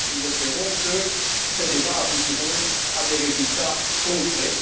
Nous espérons que ces débats aboutiront à des résultats concrets.